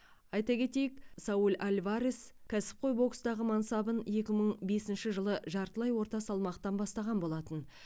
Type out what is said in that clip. айта кетейік сауль альварес кәсіпқой бокстағы мансабын екі мың бесінші жылы жартылай орта салмақтан бастаған болатын